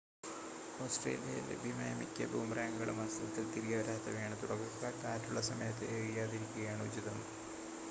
ഓസ്‌ട്രേലിയയിൽ ലഭ്യമായ മിക്ക ബൂമറാങ്ങുകളും വാസ്തവത്തിൽ തിരികെ വരാത്തവയാണ് തുടക്കക്കാർ കാറ്റുള്ള സമയത്ത് എറിയാതിരിക്കുന്നതാണ് ഉചിതം